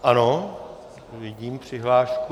Ano, vidím přihlášku.